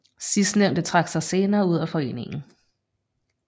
Sidstnævnte trak sig senere ud af foreningen